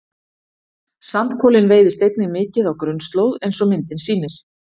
sandkolinn veiðist einnig mikið á grunnslóð eins og myndin sýnir